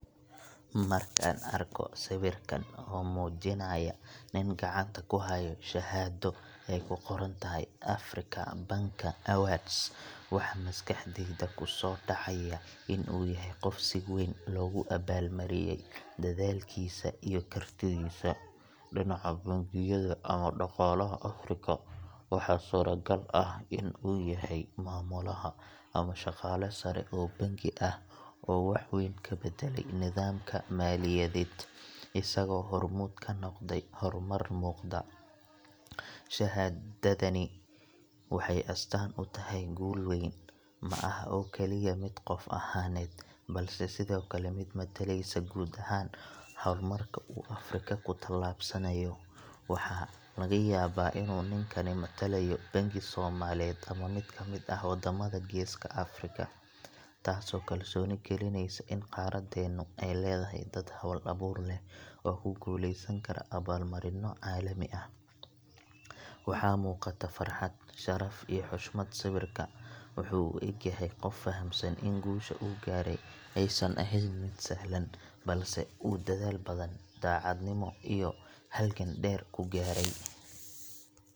Markaan arko sawirkan oo muujinaya nin gacanta ku haya shahaado ay ku qoran tahay Africa Banker Awards, waxa maskaxdayda ku soo dhacaya in uu yahay qof si weyn loogu abaalmariyay dadaalkiisa iyo kartidiisa dhinaca bangiyada ama dhaqaalaha Afrika. Waxaa suuragal ah in uu yahay maamulaha ama shaqaale sare oo bangi ah oo wax weyn ka beddelay nidaamka maaliyadeed, isagoo hormuud ka noqday horumar muuqda. Shahaadadani waxay astaan u tahay guul weyn ma aha oo kaliya mid qof ahaaneed, balse sidoo kale mid mataleysa guud ahaan horumarka uu Afrika ku tallaabsanayo. Waxaa laga yaabaa in uu ninkan matalayo bangi Soomaaliyeed ama mid ka mid ah waddamada Geeska Afrika, taasoo kalsooni gelinaysa in qaaradeennu ay leedahay dad hal-abuur leh oo ku guuleysan kara abaalmarinno caalami ah. Waxaa muuqata farxad, sharaf, iyo xushmad sawirka. Wuxuu u eg yahay qof fahamsan in guusha uu gaaray aysan ahayn mid sahlan, balse uu dadaal badan, daacadnimo, iyo halgan dheer ku gaaray.